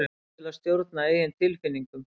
hæfni til að stjórna eigin tilfinningum